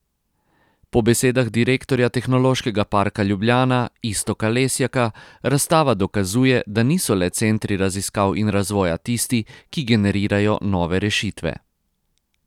Po besedah direktorja Tehnološkega parka Ljubljana Iztoka Lesjaka razstava dokazuje, da niso le centri raziskav in razvoja tisti, ki generirajo nove rešitve.